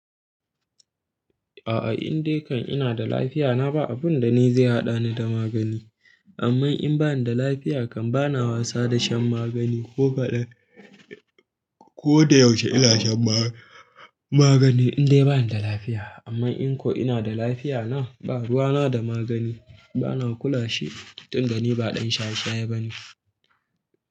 A'a in dai kan ina da lafiya na ba abun da ni zai haɗa ni da magani. Amma in bani da lafiya kan bana wasa da shan magani ko kaɗan. Ko da yaushe ina shan ma-magani in dai bani da lafiya. Amma in ko ina da lafiya na ba ruwa na da magani. Bana kula shi tun da ni ba ɗan shaye-shaye bane.